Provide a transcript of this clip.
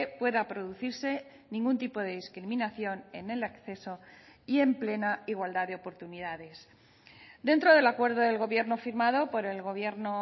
pueda producirse ningún tipo de discriminación en el acceso y en plena igualdad de oportunidades dentro del acuerdo del gobierno firmado por el gobierno